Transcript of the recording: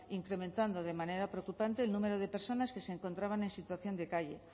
incrementando de manera preocupante el número de personas que se encontraban en situación de calle